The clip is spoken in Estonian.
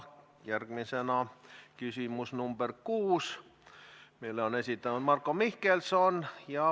Järgmisena küsimus nr 6, mille on esitanud Marko Mihkelson.